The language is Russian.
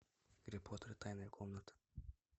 гарри поттер и тайная комната